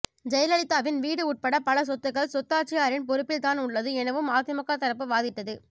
ஜெயலலிதாவின் வீடு உட்பட பல சொத்துக்கள் சொத்தாட்சியரின் பொறுப்பில் தான் உள்ளது எனவும் அதிமுக தரப்பு வாதிட்டது